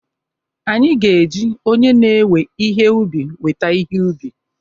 Anyị ga-eji onye na-ewe ihe ubi weta ihe ubi